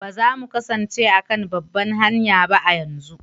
Ba za mu kasance a kan babbar hanya ba a yanzu?